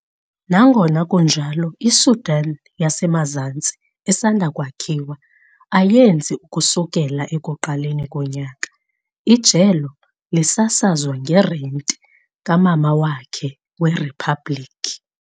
Nangona kunjalo, iSudan yaseMazantsi esanda kwakhiwa ayenzi ukusukela ekuqaleni konyaka, ijelo lisasazwa ngerenti kamama wakhe weriphabliki.